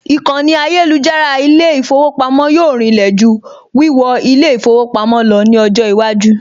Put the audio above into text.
Ìkànnì ayélujára ilé ìfowópamọ́ yóò rinlẹ̀ jù wíwọ ilé ìfowópamọ́ lọ ní ọjọ́ iwájú